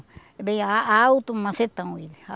É bem ah alto, macetão ele.